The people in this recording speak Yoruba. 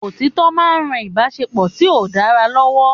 Òtítọ́ máa ń ran Ìbáṣepọ̀ tí ó dára lọ́wọ́.